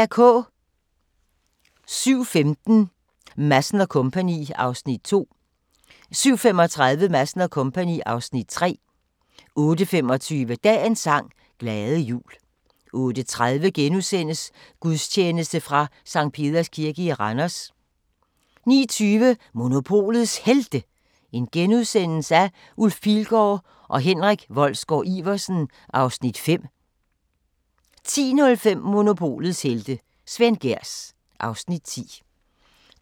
07:15: Madsen & Co. (Afs. 2) 07:35: Madsen & Co. (Afs. 3) 08:25: Dagens sang: Glade jul 08:30: Gudstjeneste fra Sct. Peders Kirke i Randers * 09:20: Monopolets Helte – Ulf Pilgaard og Henrik Wolsgaard-Iversen (Afs. 5)* 10:05: Monopolets helte - Svend Gehrs (Afs. 10)